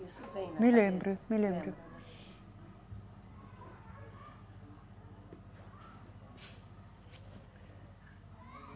Isso vem na cabeça. Me lembro, me lembro.